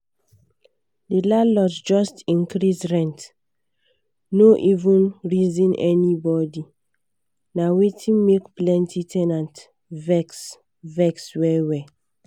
the landlord just increase rent no even reason anybody na wetin make plenty ten ants vex vex well well.